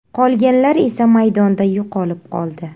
Qolganlar esa maydonda yo‘qolib qoldi.